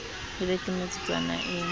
e be ke metsotswana e